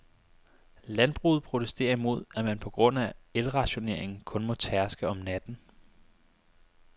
Landbruget protesterer imod, at man på grund af elrationeringen kun må tærske om natten.